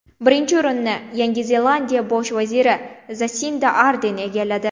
Birinchi o‘rinni Yangi Zelandiya bosh vaziri Zasinda Arden egalladi.